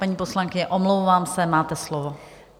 Paní poslankyně, omlouvám se, máte slovo.